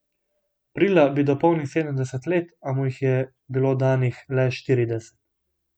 Aprila bi dopolnil sedemdeset let, a mu jih je bilo danih le štirideset.